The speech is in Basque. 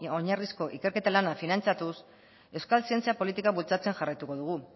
oinarrizko ikerketa lana finantzatuz euskal zientzia politika bultzatzen jarraituko dugu